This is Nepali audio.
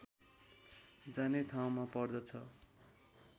जाने ठाउँमा पर्दछ